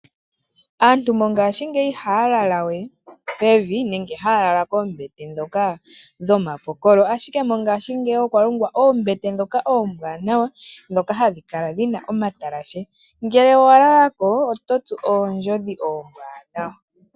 Aantu mongaashingeyi ihaya lalawe pevi nenge haya lala koombete ndhoka dhoma pokolo, ashike mongaashingeyi okwa longwa oombete ndhoka oombwaanawa, ndhoka hadhi kala dhina omatalashe ngele owa lalako oto tsu oondjodhi oombwaanawa.